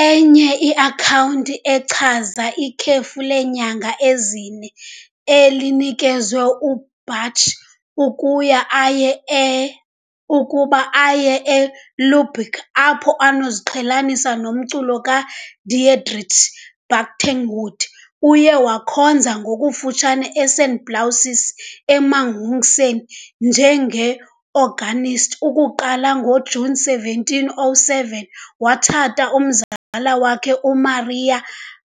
Enye iakhawunti echaza ikhefu leenyanga ezine elinikezwe uBach, ukuya aye ukuba aye eLubeck apho anokuziqhelanisa nomculo kaDietrich Buxtehude. Uye wakhonza ngokufutshane eSt. Blasius eMühlhausen njenge-organist, ukuqala ngoJuni 1707, watshata umzala wakhe, uMaria